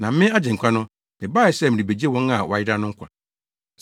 Na me, Agyenkwa no, mebae sɛ merebegye wɔn a wɔayera no nkwa.